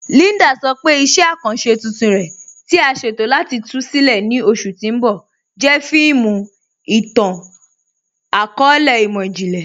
Líndà sọ pé iṣẹ̀ akanṣẹ tuntun rẹ̀, tí à sẹ̀tọ̀ láti tú sílẹ̀ ní oṣù tì n bọ̀, jẹ́ fíìmù ìtàn-akọọlẹ̀ imọ̀jìnlẹ̀.